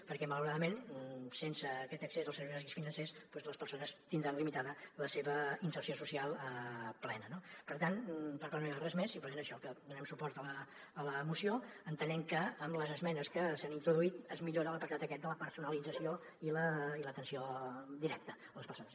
perquè malauradament sense aquest accés als ser·veis bàsics financers les persones tindran limitada la seva inserció social plena no per tant per part meva res més simplement això que donem suport a la moció entenent que amb les esmenes que s’han introduït es millora l’apartat aquest de la personalització i l’atenció directa a les persones